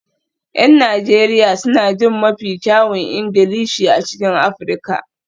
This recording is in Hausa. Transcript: Yan Najeriya suna jin mafi kyawun Ingilishi a cikin Afirka